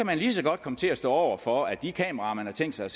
man lige så godt komme til at stå over for at de kameraer man har tænkt sig